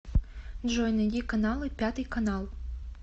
джой найди каналы пятый канал